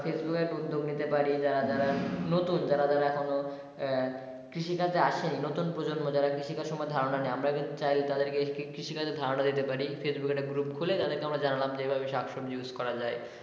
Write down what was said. উদ্যোগ নিতে পারি যারা যারা নতুন যারা যারা এখনও আহ কৃষি কাজে আসেনি নতুন প্রজন্ম যারা কৃষি কাজ সম্পর্কে ধারনা নেই মানে আমরা চাই তাদের কে কৃষি কাজের ধারনা দিতে পারি Facebook এ একটা group খুলে তাদেরকে আমরা জানালাম এভাবে শাকসবজি use করা যায়।